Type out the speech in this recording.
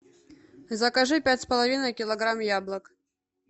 закажи пять с половиной килограмм яблок